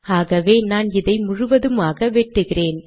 ஆகவே நான் இதை முழுதுமாக வெட்டுகிறேன்